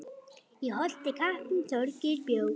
Í Holti kappinn Þorgeir bjó.